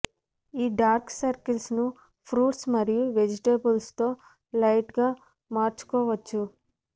ఈ dark circles ను fruits మరియు వెజిటేబుల్స్ తో లైట్ గా మార్చుకోవచ్చు